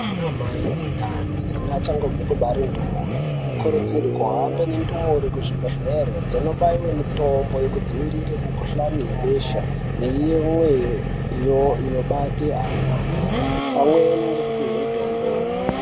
Anamai ane ndani neachangobve kubare ndumure anokurudzirwa kuhambe nendumure kuzvibhehlera dzonobaiwe mitombo yekudziirire mukuhlani yebesha neimweniwo inobate ana pamweni ngekupihwe mitombo.